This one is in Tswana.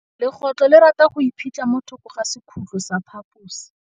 Legôtlô le rata go iphitlha mo thokô ga sekhutlo sa phaposi.